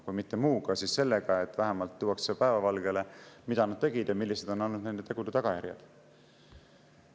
Kui mitte muuga, siis vähemalt sellega, et tuuakse päevavalgele, mida nad tegid ja millised on olnud nende tegude tagajärjed.